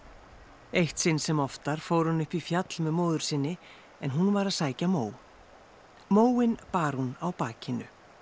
eitt sinn sem oftar fór hann upp í fjall með móður sinni en hún var að sækja mó móinn bar hún á bakinu